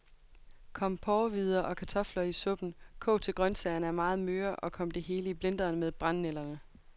Kom porrehvider og kartofler i suppen, kog til grøntsagerne er meget møre, og kom det hele i blenderen med brændenælderne.